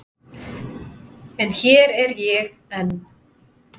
En hér er ég enn.